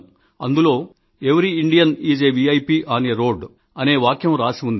అందులో every Indian is a VIP on a road అనే వాక్యం రాసి ఉంది